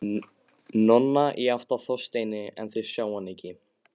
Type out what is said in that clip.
Nonna, í átt að Þorsteini, en þeir sjá hana ekki.